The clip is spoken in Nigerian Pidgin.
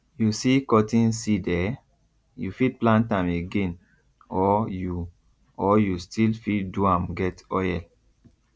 you see cotton seed eh you fit plant am again or you or you still fit do am get oil